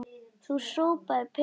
Þú sópaðir pening.